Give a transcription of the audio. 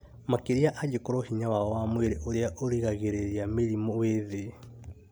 makĩria angĩkorũo hinya wao wa mwĩrĩ ũrĩa ũgiragĩrĩria mĩrimũ wĩ thĩ.